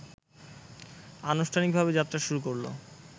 আনুষ্ঠানিকভাবে যাত্রা শুরু করলো